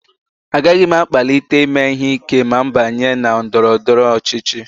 Agaghị m akpalite ime ihe ike ma m banye na ndọrọ ndọrọ ọchịchị